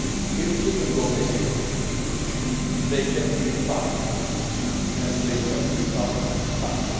If children go missing, they have to be found, and they have to be found fast.